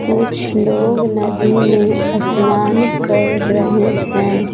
कुछ लोग नदी में स्नान कर रहे हैं।